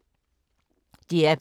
DR P2